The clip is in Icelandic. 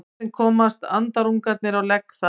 Hvernig komast andarungarnir á legg þar?